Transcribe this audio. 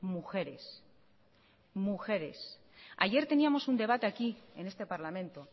mujeres mujeres ayer teníamos un debate aquí en este parlamento